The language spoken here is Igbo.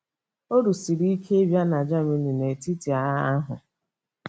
Ọrụ siri ike ịbịa na Jemini n'etiti agha ahụ.